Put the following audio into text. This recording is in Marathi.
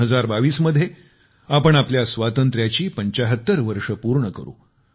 2022 मध्ये आपण आपल्या स्वातंत्र्याची 75 वर्षे पूर्ण करू